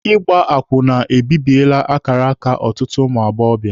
Ịgba akwụna ebibiele akara aka ụtụtụ ụmụ agbọbịa.